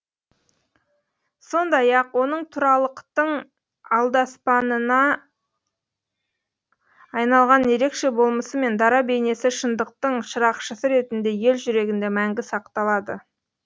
сондай ақ оның туралықтың алдаспанынына айналған ерекше болмысы мен дара бейнесі шындықтың шырақшысы ретінде ел жүрегінде мәңгі сақталады